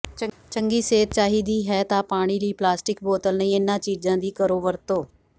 ਚੰਗੀ ਸਿਹਤ ਚਾਹੀਦੀ ਹੈ ਤਾਂ ਪਾਣੀ ਲਈ ਪਲਾਸਟਿਕ ਬੋਤਲ ਨਹੀਂ ਇਨ੍ਹਾਂ ਚੀਜ਼ਾਂ ਦੀ ਕਰੋ ਵਰਤੋਂ